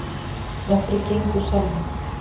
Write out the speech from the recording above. Nokkrir gengu úr salnum.